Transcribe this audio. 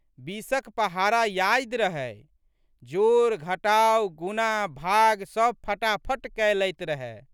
बीसक पहाड़ा यादि रहै। जोड़, घटाव, गुणा, भाग सब फटाफट कय लैत रहए।